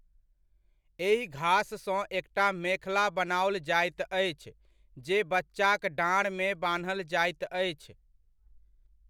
एहि घास सँ एकटा मेखला बनाओल जाइत अछि, जे बच्चाक डाँड़मे बान्हल जाइत अछि।